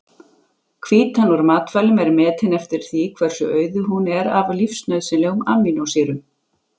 Hvítan úr matvælum er metin eftir því hversu auðug hún er af lífsnauðsynlegum amínósýrum.